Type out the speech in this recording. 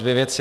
Dvě věci.